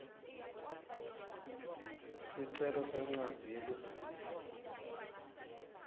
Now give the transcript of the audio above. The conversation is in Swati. sicelo sencwadzi yeligunya